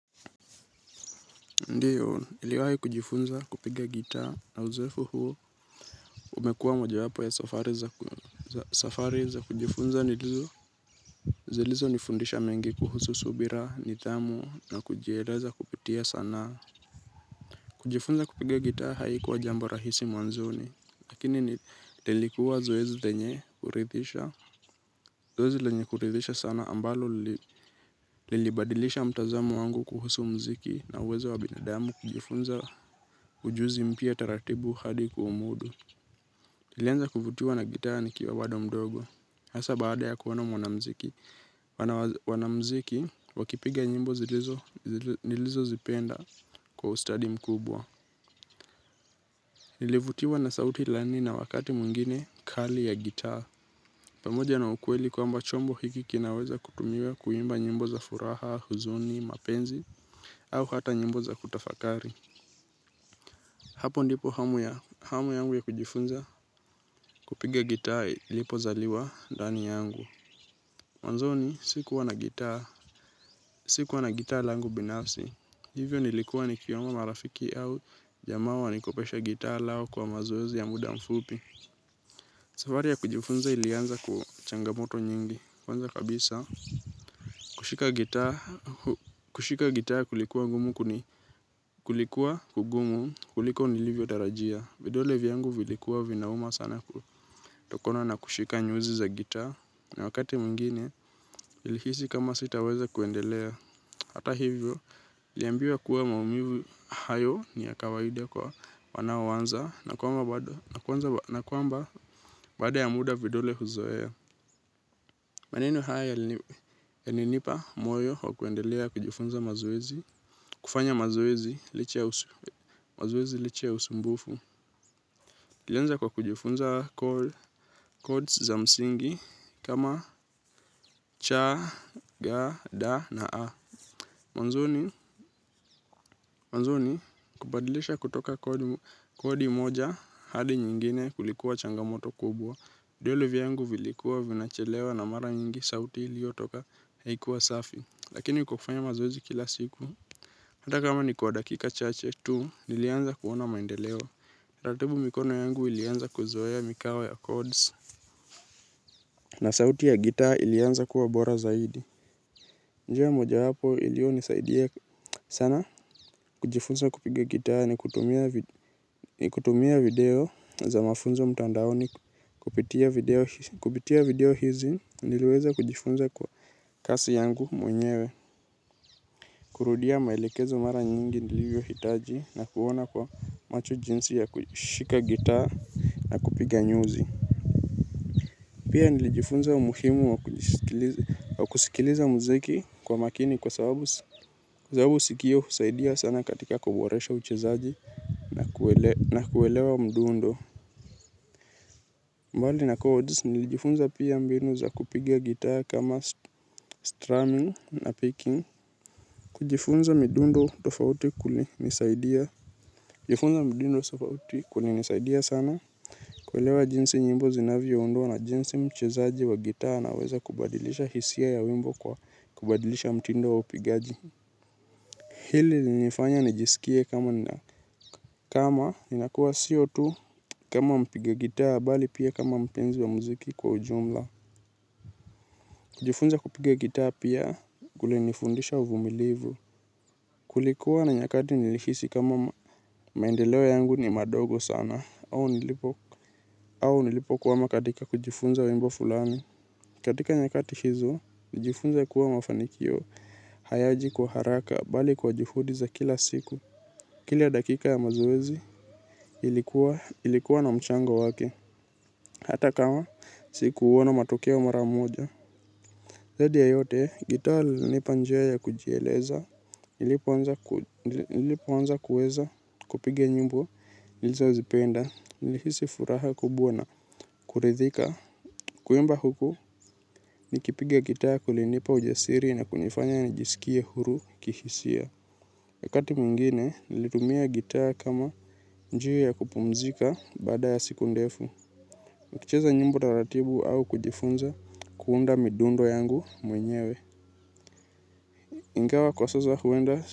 Ndiyo, niliwahi kujifunza kupiga gitaa na uzoefu huu umekuwa mojawapo ya safari za kujifunza zilizonifundisha mengi kuhusu subira, nidhamu na kujieleza kupitia sanaa. Kujifunza kupiga gitaa haikuwa jambo rahisi mwanzoni. Lakini lilikuwa zoezi lenye kuridhisha, zoezi lenye kuridhisha sana ambalo lilibadilisha mtazamo wangu kuhusu muziki na uwezo wa binadamu kujifunza ujuzi mpya taratibu hadi kuumudu. Nilianza kuvutiwa na gitaa nikiwa bado mdogo, hasa baada ya kuona mwanamuziki, wanamziki wakipiga nyimbo nilizozipenda kwa ustadi mkubwa. Nilivutiwa na sauti laini na wakati mwingine kali ya gitaa pamoja na ukweli kwamba chombo hiki kinaweza kutumiwa kuimba nyimbo za furaha, huzuni, mapenzi au hata nyimbo za kutafakari. Hapo ndipo hamu yangu ya kujifunza kupiga gitaa ilipozaliwa ndani yangu. Mwanzoni sikuwa na gitaa, sikuwa na gitaa langu binafsi. Hivyo nilikuwa nikiomba marafiki au jamaa wanikopeshe gitaa lao kwa mazoezi ya muda mfupi. Safari ya kujifunza ilianza changamoto nyingi. Kwanza kabisa, kushika gitaa kushika gitaa kulikuwa kugumu kuliko nilivyotarajia vidole vyangu vilikuwa vinauma sana kutokona na kushika nyuzi za gitaa na wakati mwingine nilihisi kama sitaweza kuendelea. Hata hivyo, niliambiwa kuwa maumivu hayo ni ya kawaida kwa wanaoanza na kwamba baada ya muda vidole huzoea. Maneno haya yalinipa moyo wa kuendelea kujifunza mazoezi, kufanya mazoezi licha ya usumbufu. Nilianza kwa kujifunza codes za msingi kama cha, ga, da na a. Mwanzoni kubadilisha kutoka code kodi moja hadi nyingine kulikuwa changamoto kubwa. Vidole vyangu vilikuwa vinachelewa na mara nyingi sauti iliyotoka haikuwa safi lakini kwa kufanya mazoezi kila siku. Hata kama ni kwa dakika chache tu nilianza kuona maendeleo. Taratibu mikono yangu ilianza kuzoea mikawa ya codes. Na sauti ya gitaa ilianza kuwa bora zaidi. Na kujifunza kupiga gitaa nikitumia video za mafunzo mtandaoni, kupitia video kupitia video hizi niliweza kujifunza kwa kasi yangu mwenyewe. Kurudia maelekezo mara nyingi nilivyohitaji na kuona kwa macho jinsi ya kushika gitaa na kupiga nyuzi. Pia nilijifunza umuhimu wa kusikiliza muziki kwa makini kwa sababu sikio husaidia sana katika kuboresha uchezaji na kuelewa mdundo. Bali na codes nilijifunza pia mbinu za kupiga gitaa kama strumming na picking. Kujifunza midundo tofauti kulinisaidia. Kujifunza midundo tofauti kulinisaidia sana. Kuelewa jinsi nyimbo zinavyoundwa na jinsi mchezaji wa gitaa anaweza kubadilisha hisia ya wimbo kwa kubadilisha mtindo wa upigaji. Hili lilinifanya nijisikie kama ninakuwa sio tu kama mpiga gitaa bali pia kama mpenzi wa muziki kwa ujumla. Kujifunza kupiga gitaa pia kulinifundisha uvumilivu. Kulikuwa na nyakati nilihisi kuwa maendeleo yangu ni madogo sana au nilipokwama katika kujifunza wimbo fulani. Katika nyakati hizo, nilijifunza kuwa mafanikio hayaji kwa haraka bali kwa juhudi za kila siku. Kila dakika ya mazoezi, ilikuwa na mchango wake. Hata kama sikuona matokeo mara moja zaidi ya yote, gitaa lilinipa njia ya kujieleza, nilipoanza kuweza kupiga nyimbo nilizozipenda. Nilihisi furaha kubwa na kuridhika. Kuimba huku nikipiga gitaa kulinipa ujasiri na kunifanya najisikie huru kihisia. Wakati mwingine, nilitumia gitaa kama njia ya kupumzika baada ya siku ndefu. Nikicheza nyimbo taratibu au kujifunza kuunda midundo yangu mwenyewe. Ingawa kwa sasa huenda.